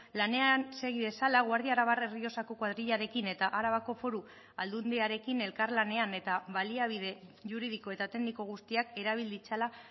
lanean segi dezala guardia arabar errioxako koadrilarekin eta arabako foru aldundiarekin elkarlanean eta baliabide juridiko eta tekniko guztiak erabil ditzala